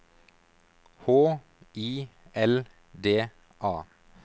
H I L D A